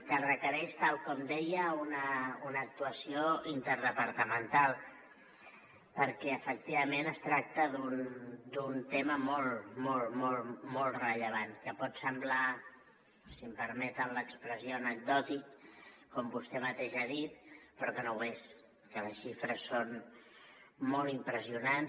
que requereix tal com deia una actuació interdepartamental perquè efectivament es tracta d’un tema molt molt molt rellevant que pot semblar si em permeten l’expressió anecdòtic com vostè mateix ha dit però que no ho és que les xifres són molt impressionants